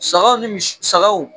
Sagaw ni mi sagaw